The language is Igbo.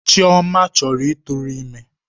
Chioma chọrọ ịtụrụ ime.